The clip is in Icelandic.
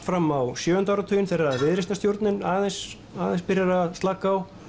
fram á sjöunda áratuginn þegar viðreisnarstjórnin aðeins aðeins byrjar að slaka á